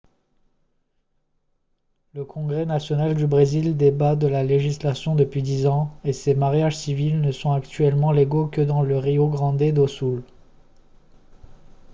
le congrès national du brésil débat de la légalisation depuis 10 ans et ces mariages civils ne sont actuellement légaux que dans le rio grande do sul